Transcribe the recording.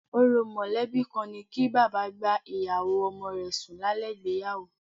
Orò mọ̀lẹ́bí kan ni kí bàbá bá ìyàwó ọmọ rẹ sùn lálẹ́ ìgbéyàwó